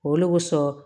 Olu bɛ sɔn